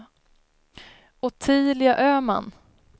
Ottilia Öhman